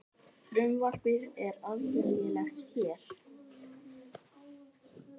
Frumvarpið er aðgengilegt hér